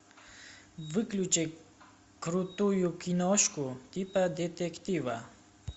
выключи крутую киношку типа детектива